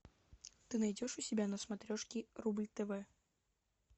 ты найдешь у себя на смотрешке рубль тв